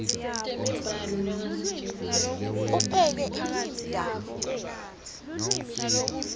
upheke imbita unatse